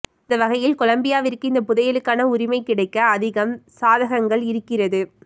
அந்த வகையில் கொலம்பியாவிற்கு இந்த புதையலுக்கான உரிமை கிடைக்க அதிகம் சாதகங்கள் இருக்கிறது